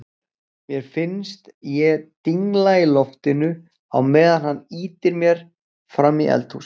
Mér finnst ég dingla í loftinu á meðan hann ýtir mér frammí eldhús.